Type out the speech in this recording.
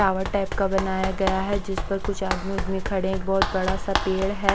Tower type का बनाया गया है जिस पर कुछ आदमी उदमी खड़े हैं एक बहुत बड़ा सा पेड़ है।